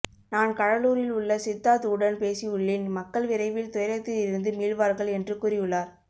நான் கடலூரில் உள்ள சித்தார்த் உடன் பேசியுள்ளேன் மக்கள் விரைவில் துயரத்தில் இருந்து மீள்வார்கள் என்று கூறியுள்ளார்